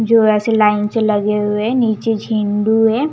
जो ऐसे लाइन से लगे हुए नीचे झिन्डू है।